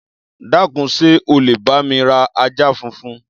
Dákun, ṣé o lè bá mi ra ajá funfun?